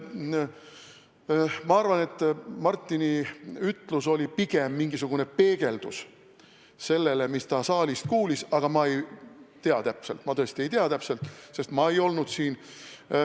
Ma arvan, et Martini ütlus oli pigem mingisugune vastupeegeldus sellele, mis ta saalist kuulis, aga ma tõesti ei tea täpselt, sest ma ei olnud siin.